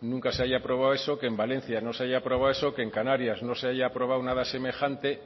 nunca se haya aprobado eso que en valencia no se haya aprobado eso que en canarias no se haya aprobado nada semejante